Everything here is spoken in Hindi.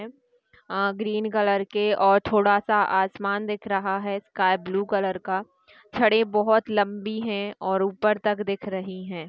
अ- ग्रीन कलर के और थोड़ा सा आसमान दिख रहा है स्काई ब्लू कलर का। छड़े बहुत लंबी है और ऊपर तक दिख रही है।